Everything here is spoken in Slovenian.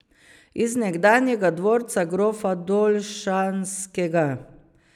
Iz nekdanjega dvorca grofa Dolšanskega.